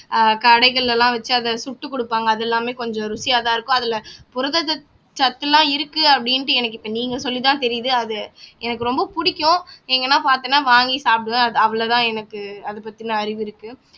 ஆஹ் கடைகள் எல்லாம் வச்சு அதை சுட்டுக் கொடுப்பாங்க அது எல்லாமே கொஞ்சம் ருசியாதான் இருக்கும் அதில புரதச் சத் சத்தெல்லாம் இருக்கு அப்படின்ட்டு எனக்கு இப்போ நீங்க சொல்லித்தான் தெரியுது அது எனக்கு ரொம்ப பிடிக்கும் எங்கேன்னா பார்த்தன்னா வாங்கி சாப்பிடுவேன் அது அவ்ளோதான் எனக்கு அதப் பத்தின அறிவு இருக்கு